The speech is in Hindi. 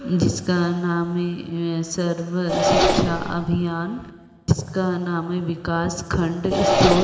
जिसका नाम है सर्व शिक्षा अभियान इसका नाम है विकास खंड स्त्रोत --